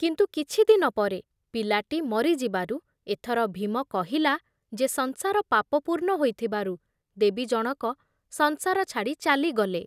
କିନ୍ତୁ କିଛି ଦିନପରେ ପିଲାଟି ମରି ଯିବାରୁ ଏଥର ଭୀମ କହିଲା ଯେ ସଂସାର ପାପପୂର୍ଣ୍ଣ ହୋଇଥିବାରୁ ଦେବୀ ଜଣକ ସଂସାର ଛାଡ଼ି ଚାଲିଗଲେ ।